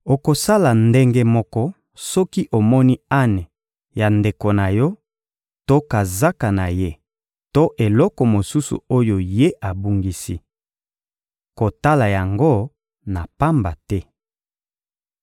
Okosala ndenge moko soki omoni ane ya ndeko na yo to kazaka na ye to eloko mosusu oyo ye abungisi. Kotala yango na pamba te.